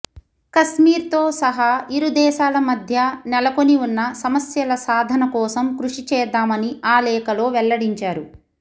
కశ్మీర్తో సహా ఇరు దేశాల మధ్య నెలకొని ఉన్న సమస్యల సాధన కోసం కృషి చేద్దామని ఆ లేఖలో వెల్లడించారు